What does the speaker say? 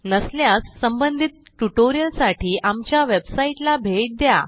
नसल्यास संबंधित ट्युटोरियलसाठी आमच्या वेबसाईटला भेट द्या